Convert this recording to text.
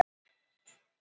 Þetta er óskiljanlegt.